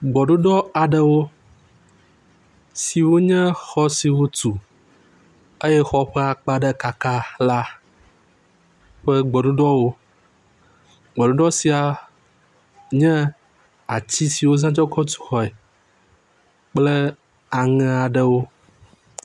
Gbeɖuɖɔ aɖewo siwo nye xɔ si wotu eye xɔ ƒe akpa ɖe kaka la ƒe gbeɖuɖɔwo, gbeɖuɖɔ sia nye ati si wozã kɔ tuxɔɛ kple aŋe aɖewo.